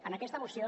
en aquesta moció